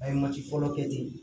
A ye mati fɔlɔ kɛ ten